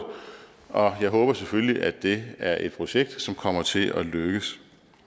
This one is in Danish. og jeg håber selvfølgelig at det er et projekt som kommer til at lykkes